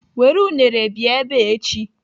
Were unere bịa ebe a echi.